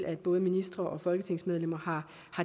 at både ministre og folketingsmedlemmer har